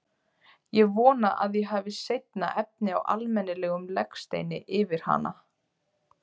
Ég vona að ég hafi seinna efni á almennilegum legsteini yfir hana.